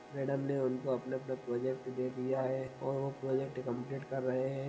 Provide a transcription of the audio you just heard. Madam ने उनको अपने अपने प्रोजेक्ट दे दिया है और वो प्रोजेक्ट कम्प्लीट कर रहे है।